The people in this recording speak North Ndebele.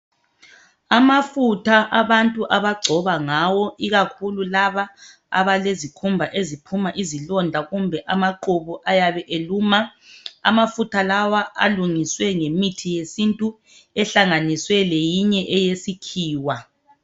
Amafutha abantu abagcoba ngawo ikakhulu laba abalezikhumba eziphuma izilonda kumbe amaqhubu ayabe eluma. Amafutha lawa alungiswe ngemithi yesintu ehlanganiswe leyinye eyesikhiwa.